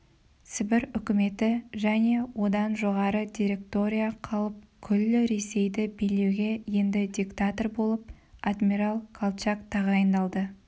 сібір үкіметі және одан жоғары директория қалып күллі ресейді билеуге енді диктатор болып адмирал колчак тағайындалды